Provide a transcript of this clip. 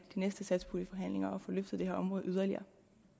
næste satspuljeforhandlinger at få løftet det her område yderligere